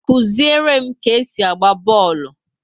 Kụziere m ka esi agba bọọlụ!